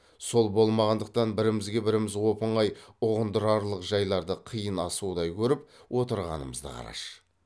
сол болмағандықтан бірімізге біріміз оп оңай ұғындырарлық жайларды қиын асудай көріп отырғанымызды қараш